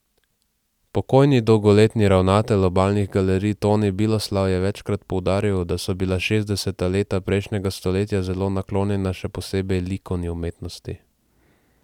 Pokojni dolgoletni ravnatelj Obalnih galerij Toni Biloslav je večkrat poudaril, da so bila šestdeseta leta prejšnjega stoletja zelo naklonjena še posebej likovni umetnosti.